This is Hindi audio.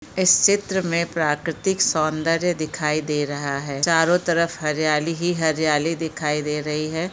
इस चित्र मे प्राकृतिक सौदर्य दिखाई दे रहा है चारों तरफ हरियाली ही हरियाली दिखाई दे रही है।